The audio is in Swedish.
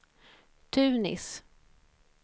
Tunis